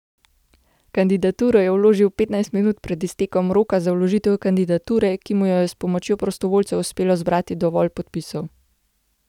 Kandidaturo je vložil petnajst minut pred iztekom roka za vložitev kandidature, ko mu je s pomočjo prostovoljcev uspelo zbrati dovolj podpisov.